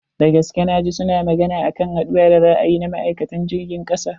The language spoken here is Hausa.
Dagaske na ji su suna magana akan haduwan da za a yi na ma'aikatan jirgin kasa.